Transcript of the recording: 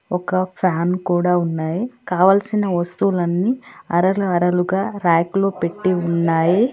ఒక ఫ్యాన్ కూడా ఉన్నాయి కావలసిన వస్తువులన్నీ అరల అరలుగా ర్యాకులో పెట్టి ఉన్నాయి.